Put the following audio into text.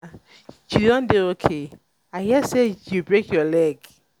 anna you don dey okay? i hear say you break your leg